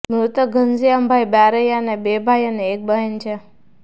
મૃતક ઘનશ્યામભાઈ બારૈયાને બે ભાઈ અને એક બહેન છે